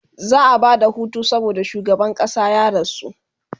za'a Bada Hutu saboda shugaban ƙasa ya rasu